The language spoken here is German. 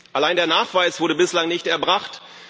Allein, der Nachweis wurde bislang nicht erbracht.